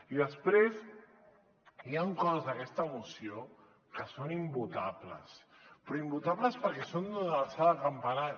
i després hi ha coses d’aquesta moció que són invotables però invotables perquè són de l’alçada d’un campanar